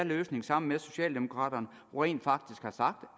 løsning sammen med socialdemokraterne rent faktisk har sagt